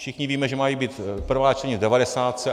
Všichni víme, že mají být prvá čtení v devadesátce.